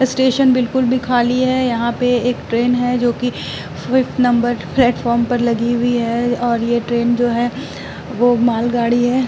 Station बिल्कुल भी खाली है। यहां पे एक ट्रेन है जोकि फिफ्थ नंबर प्लेटफार्म पर लगी हुई है और ये ट्रेन जो है वो मालगाड़ी है।